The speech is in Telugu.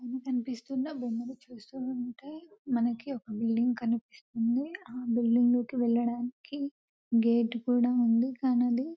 ఇక్కడ కనిపిస్తున్న బొమ్మను చూస్తూ ఉంటే మనకి ఒక బిల్డింగ్ కనిపిస్తుంది ఆ బిల్డింగ్ లోకి వెళ్లడానికి గేటు కూడా ఉంది కానీ అది --